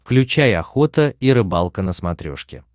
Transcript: включай охота и рыбалка на смотрешке